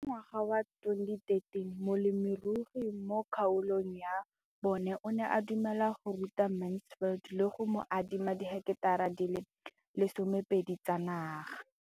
Ka ngwaga wa 2013, molemirui mo kgaolong ya bona o ne a dumela go ruta Mansfield le go mo adima di heketara di le 12 tsa naga.